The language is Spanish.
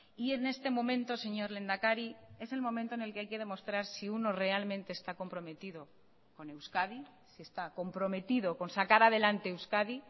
y en este momento señor lehendakari es el momento en el que hay que demostrar si uno realmente está comprometido con euskadi si está comprometido con sacar adelante euskadi